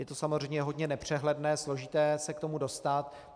Je to samozřejmě hodně nepřehledné, složité se k tomu dostat.